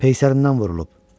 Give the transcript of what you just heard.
Peysərindən vurulub.